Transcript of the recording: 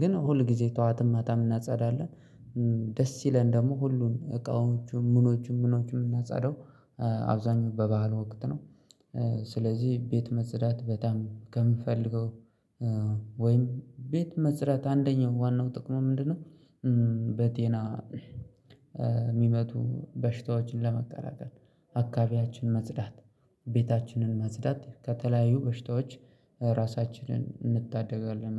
ግን ሁል ጊዜ ጠዋትም ማታም እናጸዳለን። ደስ ይለን ደግሞ ሁሉን እቃዎቹን ምኖቹን ምኖቹን የምናጻደው አብዛኛው በባህሉ ወቅት ነው። ስለዚህ ቤት መጽዳት በጣም ከምፈልገው ወይም ቤት መስራት አንደኛው ዋናው ጥቅሙ ምንድነው? በጤና የሚመቱ በሽታዎችን ለመከላከል አካባቢያችን መጽዳት ቤታችንን ማጽዳት ከተለያዩ በሽታዎች ራሳችንን እንታደጋለን።